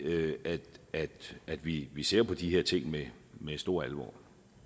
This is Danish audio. at at vi vi ser på de her ting med med stor alvor